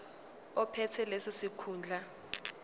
ophethe leso sikhundla